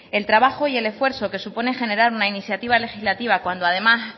el trabajo y el esfuerzo que supone generar una iniciativa legislativa cuando además